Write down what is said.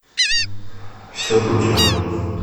все путем